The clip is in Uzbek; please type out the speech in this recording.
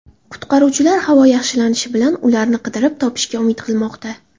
Qutqaruvchilar havo yaxshilanishi bilan ularni qidirib topishga umid qilmoqda.